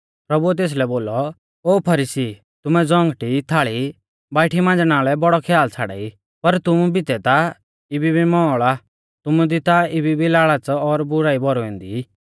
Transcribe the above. प्रभुऐ तेसलै बोलौ ओ फरीसी तुमै ज़ौंगटी थाल़ी बाइठी मांज़णा लै बौड़ौ ख्याल छ़ाड़ाई पर तुमु बितै ता इबी भी मौल़ आ तुमु दी ता इबी भी लाल़च़ और बुराई भौरुई ऐन्दी